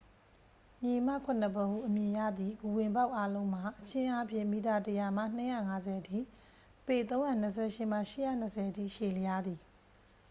"""ညီအစ်မခုနှစ်ဖော်" ဟု အမည်ရသည့် ဂူဝင်ပေါက်အားလုံးမှာ အချင်းအားဖြင့် မီတာ ၁၀၀ မှ ၂၅၀ အထိ ပေ ၃၂၈ မှ ၈၂၀ အထိ ရှည်လျားသည်။